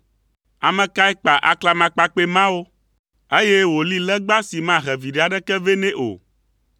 Ame kae kpa aklamakpakpɛ mawo, eye wòli legba si mahe viɖe aɖeke vɛ nɛ o?